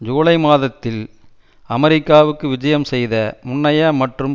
ஜூலை மாதத்தில் அமெரிக்காவுக்கு விஜயம் செய்த முன்னைய மற்றும்